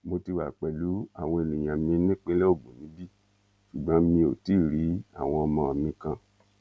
mo ti wà pẹlú àwọn èèyàn mi nípínlẹ ogun níbí ṣùgbọn mi ò tí ì rí àwọn ọmọ mi kan